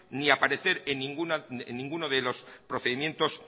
ni aparecer en ninguno de los procedimientos